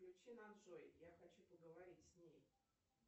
включи нам джой я хочу поговорить с ней